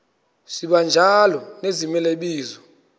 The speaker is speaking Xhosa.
sibanjalo nezimela bizo